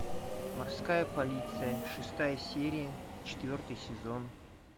морская полиция шестая серия четвертый сезон